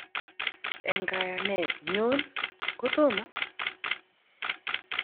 En kayanet nyon, kotomo?